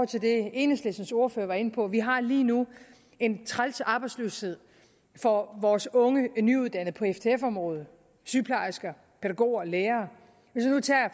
til det enhedslistens ordfører var inde på vi har lige nu en træls arbejdsløshed for vores unge nyuddannede på ftf områder sygeplejersker pædagoger lærere